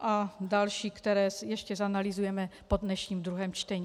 a další, které ještě zanalyzujeme po dnešním druhém čtení.